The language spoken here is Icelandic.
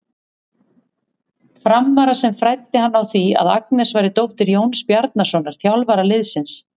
Frammara sem fræddi hann á því að Agnes væri dóttir Jóns Bjarnasonar, þjálfara liðsins.